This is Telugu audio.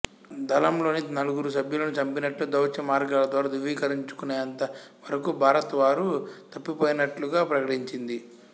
దళం లోని నలుగురు సభ్యులను చంపినట్లు దౌత్య మార్గాల ద్వారా ధ్రువీకరించుకునేంత వరకు భారత్ వారు తప్పిపోయినట్లుగా ప్రకటించింది